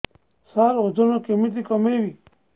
ସାର ଓଜନ କେମିତି କମେଇବି